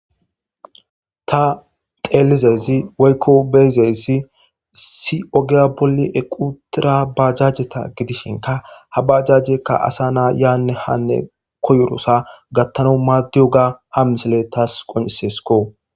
Ta xeellizayssi woyko ta be7izayssi issi oge bolla uttida bajajeta shin ha bajajeti asa na yaanne haa gatiyaba asti koyizaso gathanas danda7iyaba ha misiley tas qonccisidesko.